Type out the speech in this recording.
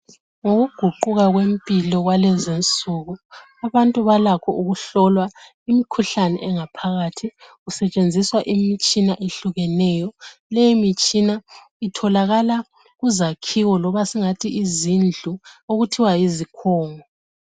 Ngokuguquka kwempilo abantu balakho ukuhlolwa imikhuhlane ingaphakathi. Kusetshenziswa imitshina eyehlukeneyo. Leyi imitshina itholakala kuzakhiwo loba singathi izindlu okuthiwa yizikhungo